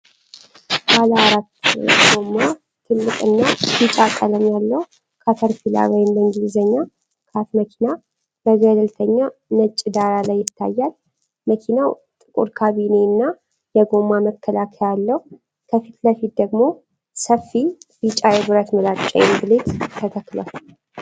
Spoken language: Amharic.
ባለ አራት ጎማ፣ ትልቅና ቢጫ ቀለም ያለው ካተርፒላር (CAT) መኪና በገለልተኛ ነጭ ዳራ ላይ ይታያል። መኪናው ጥቁር ካቢኔ እና የጎማ መከላከያ አለው፤ ከፊት ለፊት ደግሞ ሰፊ ቢጫ የብረት ምላጭ (blade) ተተክሏል።